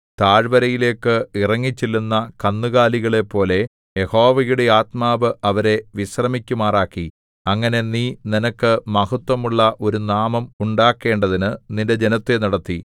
താഴ്വരയിലേക്കു ഇറങ്ങിച്ചെല്ലുന്ന കന്നുകാലികളെപ്പോലെ യഹോവയുടെ ആത്മാവ് അവരെ വിശ്രമിക്കുമാറാക്കി അങ്ങനെ നീ നിനക്ക് മഹത്ത്വമുള്ള ഒരു നാമം ഉണ്ടാക്കേണ്ടതിനു നിന്റെ ജനത്തെ നടത്തി